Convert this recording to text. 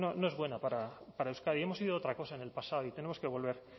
no es buena para euskadi hemos sido otra cosa en el pasado y tenemos que volver